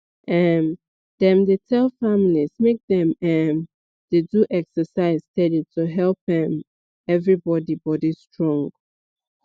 um dem dey tell families make dem um dey do exercise steady to help um everybody body strong